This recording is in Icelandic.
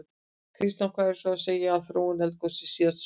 Kristján: Hvað er svo að segja af þróun eldgossins síðasta sólarhringinn?